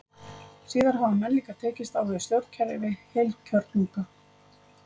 Síðar hafa menn líka tekist á við stjórnkerfi heilkjörnunga.